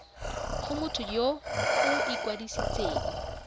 go motho yo o ikwadisitseng